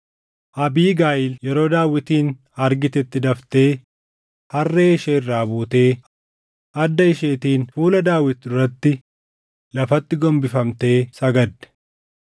Abiigayiil yeroo Daawitin argitetti daftee harree ishee irraa buutee adda isheetiin fuula Daawit duratti lafatti gombifamtee sagadde.